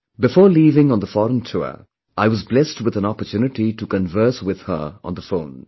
Before leaving on the foreign tour, I was blessed with an opportunity to converse with her on the phone